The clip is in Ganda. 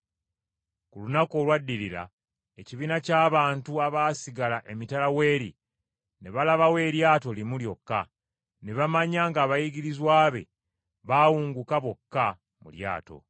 Ku lunaku olwaddirira, ekibiina ky’abantu abaasigala emitala w’eri, ne balabawo eryato limu lyokka, ne bamanya ng’abayigirizwa be baawunguka bokka mu lyato.